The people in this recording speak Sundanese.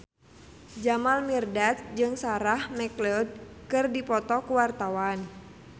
Jamal Mirdad jeung Sarah McLeod keur dipoto ku wartawan